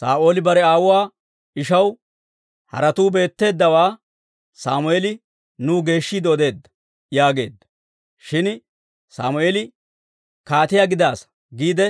Saa'ooli bare aawuwaa ishaw, «Haretuu beetteeddawaa Sammeeli nuw geeshshiide odeedda» yaageedda; shin Sammeeli, «Kaatiyaa gidaasa» giide